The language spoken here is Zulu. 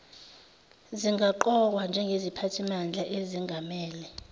zingaqokwa njengeziphathimandla ezengamele